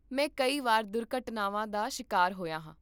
ਮੈਂ ਕਈ ਵਾਰ ਦੁਰਘਟਨਾਵਾਂ ਦਾ ਸ਼ਿਕਾਰ ਹੋਇਆ ਹਾਂ